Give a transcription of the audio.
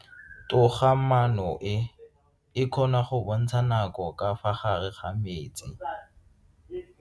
Toga-maano e, e kgona go bontsha nako ka fa gare ga metsi.